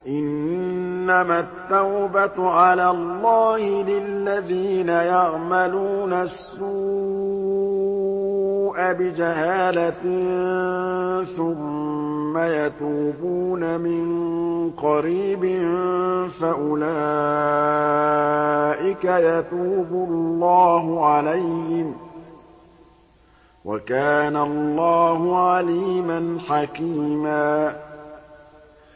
إِنَّمَا التَّوْبَةُ عَلَى اللَّهِ لِلَّذِينَ يَعْمَلُونَ السُّوءَ بِجَهَالَةٍ ثُمَّ يَتُوبُونَ مِن قَرِيبٍ فَأُولَٰئِكَ يَتُوبُ اللَّهُ عَلَيْهِمْ ۗ وَكَانَ اللَّهُ عَلِيمًا حَكِيمًا